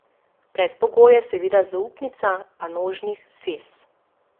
Predpogoj je seveda zaupnica panožnih zvez.